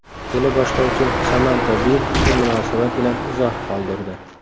Teleboshlovchi Samanta Bi shu munosabat bilan izoh qoldirdi.